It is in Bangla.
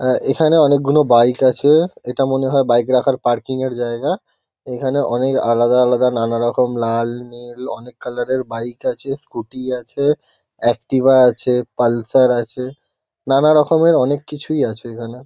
আ এখানে অনেকগুনো বাইক আছে। এটা মনে হয় বাইক রাখার পার্কিং -এর জায়গা। এখানে অনেক আলাদা আলাদা নানারকম লাল-নীল অনেক কালার -এর বাইক আছে স্কুটি আছে এক্টিভা আছে পালসার আছে। নানারকমের অনেক কিছুই আছে এখানে।